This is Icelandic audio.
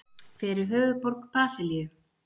Hver er höfuðborg Brasilíu?